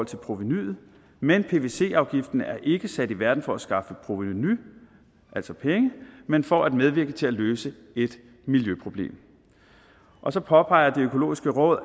provenuet men pvc afgiften er ikke sat i verden for at skaffe provenu altså penge men for at medvirke til at løse et miljøproblem og så påpeger det økologiske råd